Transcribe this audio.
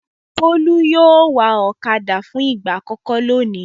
Bólú yóò wa ọ̀kadà fún ìgbà àkọ́kọ́ lónìí.